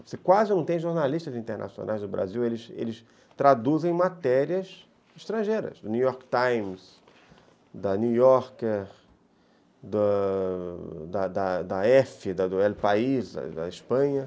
Você quase não tem jornalistas internacionais do Brasil, eles eles eles traduzem matérias estrangeiras, do New York Times, da New Yorker, da F, do El País, da Espanha.